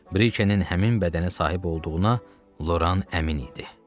Brike'nin həmin bədənə sahib olduğuna Loran əmin idi.